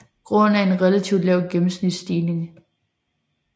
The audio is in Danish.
Grunden er en relativt lav gennemsnitsstigning